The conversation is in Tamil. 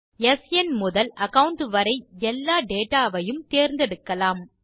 ஸ்ன் முதல் அகாவுண்ட் வரை எல்லா டேட்டா வையும் தேர்ந்தெடுக்கலாம்